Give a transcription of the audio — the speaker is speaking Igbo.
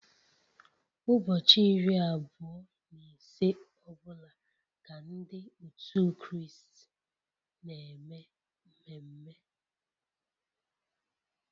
Ụbọchị iri abụọ na ise ọ bụla ka Ndị otu Kraịst na-eme mmeme